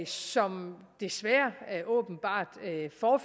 som desværre åbenbart